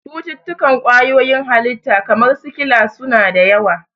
Cututtukan kwayoyin halitta, kamar sikila, su na da yawa.